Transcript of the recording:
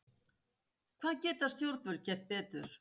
Hvað geta stjórnvöld gert betur?